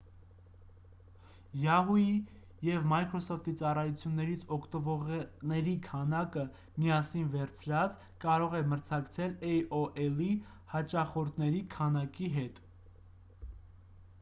yahoo!-ի և microsoft-ի ծառայություններից օգտվողերի քանակը՝ միասին վերցրած կարող է մրցակցել aol-ի հաճախորդների քանակի հետ: